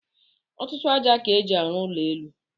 Ọtụtụ aja ka eji aru ụlọ élú.